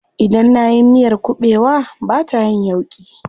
Idan nayi miyar kuɓewa bata yin yauƙi.